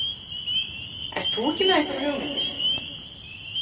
Ert þú ekki með einhverjar hugmyndir?